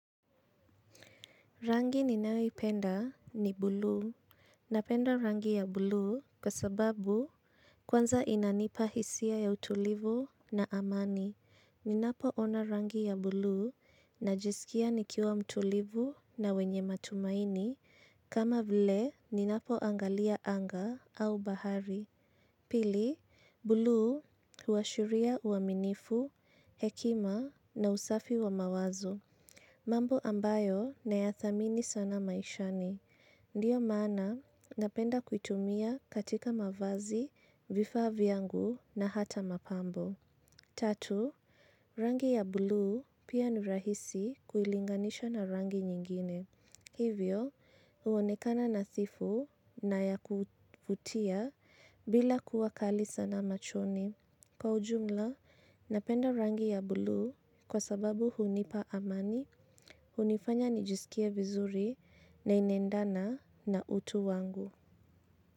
Rangi ninayoipenda ni bulu. Napenda rangi ya bulu kwa sababu kwanza inanipa hisia ya utulivu na amani. Ninapoona rangi ya buluu najisikia nikiwa mtulivu na wenye matumaini kama vile ninapoangalia anga au bahari. Pili, buluu huashiria uaminifu, hekima na usafi wa mawazo. Mambo ambayo nayadhamini sana maishani. Ndio maana napenda kuitumia katika mavazi vifaa vyangu au mapambo. Tatu, rangi ya buluu pia ni rahisi kuilinganisha na rangi nyingine. Hivyo, uonekana nadhifu na ya kuvutia bila kuwa kali sana machoni. Kwa ujumla, napenda rangi ya buluu kwa sababu hunipa amani, hunifanya nijisikie vizuri na inaendana na utu wangu.